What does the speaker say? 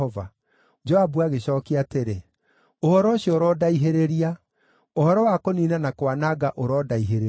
Joabu agĩcookia atĩrĩ, “Ũhoro ũcio ũrondaihĩrĩria! Ũhoro wa kũniina na kwananga ũrondaihĩrĩria!